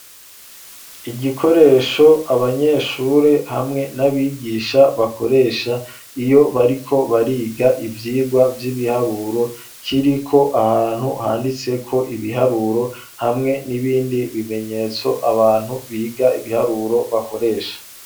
Igikoresho abanyeshure hamwe n'abigisha bakoresha, iyo bariko bariga ivyigwa vy'ibiharuro, kiriko ahantu handitseko ibiharuro, hamwe n'ibindi bimenyetso abantu biga ibiharuro bakoresha.